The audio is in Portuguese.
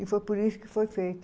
E foi por isso que foi feito.